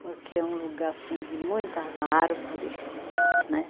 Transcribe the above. Porque é um lugar, assim, de muitas árvore, né?